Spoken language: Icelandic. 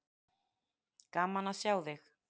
Gaman að sjá þig.